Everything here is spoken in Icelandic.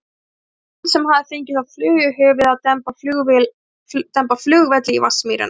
Það var hann sem hafði fengið þá flugu í höfuðið að demba flugvelli í Vatnsmýrina.